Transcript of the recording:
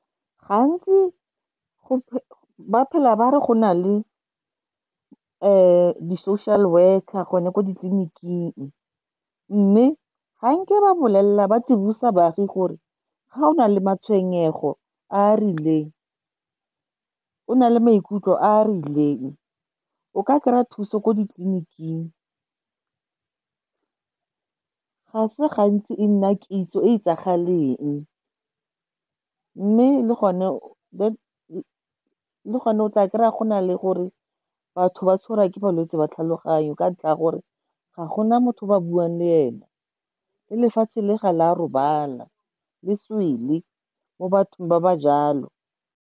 Gantsi ba phela ba re go na le di-social worker go ne ko ditleliniking, mme ga nke ba tsibosa baagi gore ga o na le matshwenyego a a rileng, o na le maikutlo a a rileng, o ka kry-a thuso ko ditleliniking. Ga se gantsi e nna kitso e e itsagaleng, mme le gone o tla kry-a go na le gore batho ba tshwarwa ke malwetse a tlhaloganyo ka ntlha ya gore ga gona motho ba buang le ene, le lefatshe le ga la robala le swele mo bathong ba ba jalo.